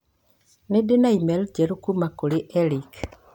Nĩ ndĩ na e-mail njerũ kuuma kũrĩ Eric